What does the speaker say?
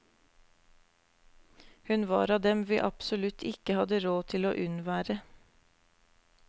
Hun var av dem vi absolutt ikke hadde råd til å unnvære.